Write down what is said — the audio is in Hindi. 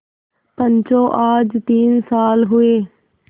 पंचो आज तीन साल हुए